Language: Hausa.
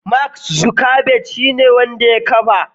Mark Zuckerberg shine wanda ya kafa.